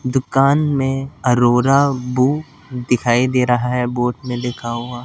दुकान में अरोरा बू दिखाई दे रहा है बोत में लिखा हुआ--